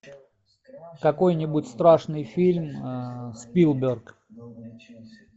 какой нибудь страшный фильм спилберг